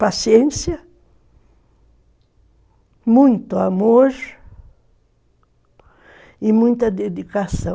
Paciência, muito amor e muita dedicação.